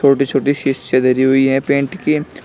छोटी धरी हुई हैं पेंट की।